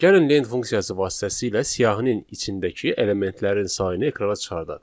Gəlin lent funksiyası vasitəsilə siyahının içindəki elementlərin sayını ekrana çıxardaq.